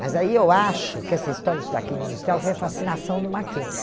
Mas aí eu acho que essa história de estudar Química Industrial foi a fascinação do Mackenzie.